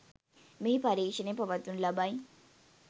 මෙහි පරීක්‍ෂණ පවත්වනු ලබයි.